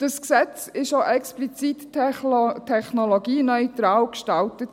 Dieses Gesetz wurde auch explizit technologieneutral gestaltet.